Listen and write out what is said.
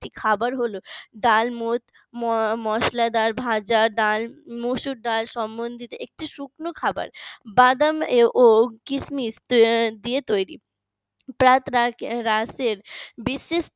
খাবার হলো ডাল মুড মসলাদার ভাজা ডাল মসুর ডাল সম্বন্ধিত একটি শুকনো খাবার। বাদাম ও কিসমিস দিয়ে তৈরি প্রা প্রাতঃরাশের বিশিষ্ট